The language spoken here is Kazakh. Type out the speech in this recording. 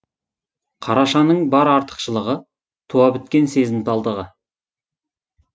қарашаның бар артықшылығы туа біткен сезімталдығы